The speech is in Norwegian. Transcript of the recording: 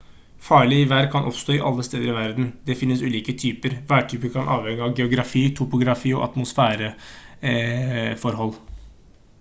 farlig vær kan oppstå alle steder i verden det finnes ulike typer værtyper kan avhenge av geografi topografi og atmosfæreforhold